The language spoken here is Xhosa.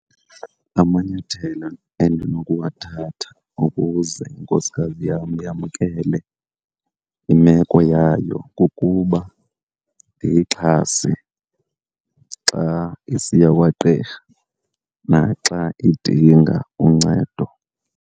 Amanyathelo endinokuwathatha ukuze inkosikazi yam yamkele imeko yayo kukuba ndiyixhase xa isiya kwagqirha naxa idinga uncedo.